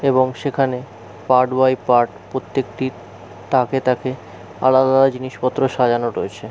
এবং সেখানে part by part প্রত্যেকটি তাকে তাকে আলাদা জিনিসপত্র সাজানো রয়েছে।